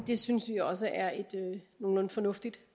det synes vi også er et nogenlunde fornuftigt